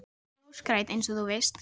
Veggurinn er ljósgrænn, einsog þú veist.